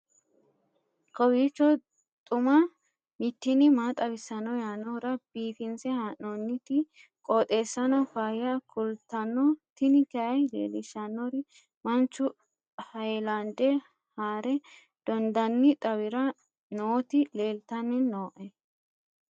kowiicho xuma mtini maa xawissanno yaannohura biifinse haa'noonniti qooxeessano faayya kultanno tini kayi leellishshannori manchu hayilande haare dondanni xawira nooti leeltanni nooe